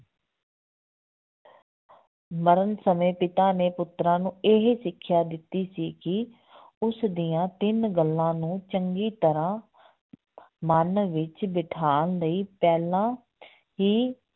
ਮਰਨ ਸਮੇਂ ਪਿਤਾ ਨੇ ਪੁੱਤਰਾਂ ਨੂੰ ਇਹ ਸਿੱਖਿਆ ਦਿੱਤੀ ਸੀ ਕਿ ਉਸ ਦੀਆਂ ਤਿੰਨ ਗੱਲਾਂ ਨੂੰ ਚੰਗੀ ਤਰ੍ਹਾਂ ਮਨ ਵਿੱਚ ਬਿਠਾਉਣ ਲਈ ਪਹਿਲਾਂ ਹੀ